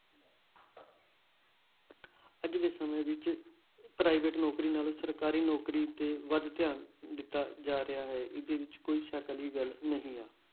ਅੱਜ ਦੇ ਸਮੇਂ ਵਿੱਚ private ਨੌਕਰੀ ਨਾਲੋਂ ਸਰਕਾਰੀ ਨੌਕਰੀ ਤੇ ਵੱਧ ਧਿਆਨ ਦਿੱਤਾ ਜਾ ਰਿਹਾ ਹੈ, ਇਹਦੇ ਵਿੱਚ ਕੋਈ ਸ਼ੱਕ ਵਾਲੀ ਗੱਲ ਨਹੀਂ ਹੈ।